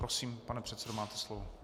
Prosím, pane předsedo, máte slovo.